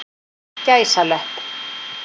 gæsalöpp